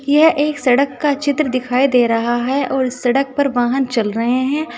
यह एक सड़क का चित्र दिखाई दे रहा है और सड़क पर वाहन चल रहे हैं।